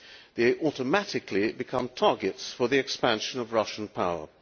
They automatically become targets for the expansion of Russian power.